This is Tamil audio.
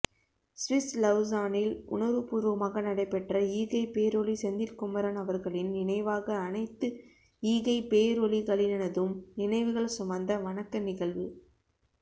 சுவிஸ் லவுசானில் உணர்வுபூர்வமாக நடைபெற்ற ஈகைப்பேரொளி செந்தில்குமரன் அவர்களின் நினைவாக அனைத்து ஈகைப்பேரொளிகளினதும் நினைவுகள் சுமந்த வணக்க நிகழ்வு